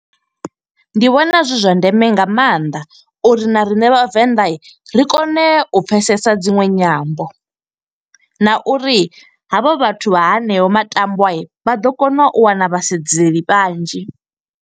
Ndi vhona zwi zwa ndeme nga maanḓa uri na rine vhavenḓa ri kone u pfesesa dziṅwe nyambo. Na uri havha vhathu vha hanea matambwa, vha ḓo kona u wana vhasedzali vhanzhi.